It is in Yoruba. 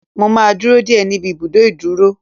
Mo máa dúró dè ẹ́ níbi ibùdó ìdúrú.